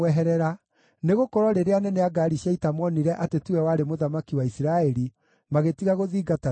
nĩgũkorwo rĩrĩa anene a ngaari cia ita moonire atĩ tiwe warĩ mũthamaki wa Isiraeli, magĩtiga gũthingatana nake.